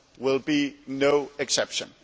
will be no exception.